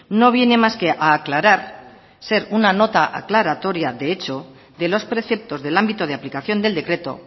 no viene más que a aclarar ser una nota aclaratoria de hecho de los preceptos del ámbito de aplicación del decreto